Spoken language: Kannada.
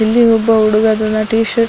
ಇಲ್ಲಿ ಒಬ್ಬ ಹುಡುಗ ಟೀ ಶರ್ಟ್ --